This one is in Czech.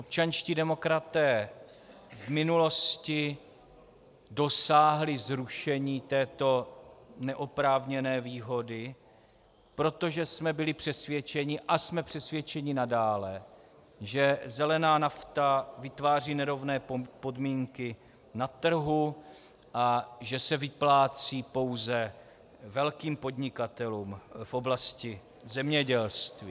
Občanští demokraté v minulosti dosáhli zrušení této neoprávněné výhody, protože jsme byli přesvědčeni, a jsme přesvědčeni nadále, že zelená nafta vytváří nerovné podmínky na trhu a že se vyplácí pouze velkým podnikatelům v oblasti zemědělství.